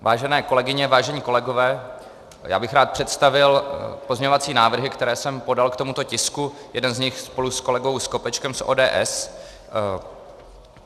Vážené kolegyně, vážení kolegové, já bych rád představil pozměňovací návrhy, které jsem podal k tomuto tisku, jeden z nich spolu s kolegou Skopečkem z ODS.